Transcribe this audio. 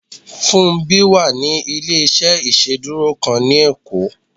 Fúnmbí wà ní ilé-iṣẹ́ ìsedúró kan ni ekó